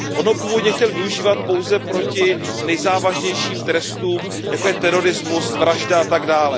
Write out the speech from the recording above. On ho původně chtěl využívat pouze proti nejzávažnějším trestům, jako je terorismus, vraždy atd.,